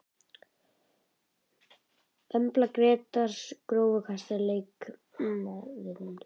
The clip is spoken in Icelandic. Embla Grétars Grófasti leikmaðurinn?